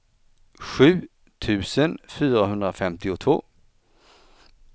sju tusen fyrahundrafemtiotvå